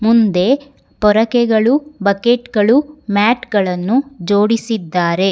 ಮುಂದೆ ಪೊರಕೆಗಳು ಬಕೆಟ್ ಗಳು ಮ್ಯಾಟ್ ಗಳನ್ನು ಜೋಡಿಸಿದ್ದಾರೆ.